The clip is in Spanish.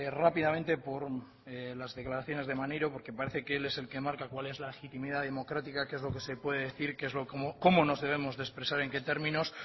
rápidamente por las declaraciones de maneiro porque parece que él es el que marca cuál es la legitimidad democrática qué es lo que se puede decir cómo nos debemos expresar en qué términos